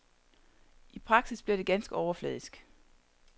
I praksis bliver det ganske overfladisk.